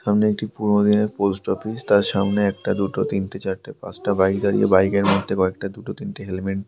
সামনে একটি পুরনো দিনের পোস্ট অফিস । তার সামনে একটা দুটো তিনটে চারটে পাঁচটা বাইক দাঁড়িয়ে । বাইকের মধ্যে কয়েকটা দুটো তিনটে হেলমেট--